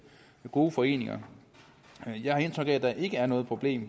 gode foreninger jeg har indtryk af at der ikke er noget problem